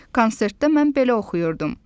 Konsertdə mən belə oxuyurdum: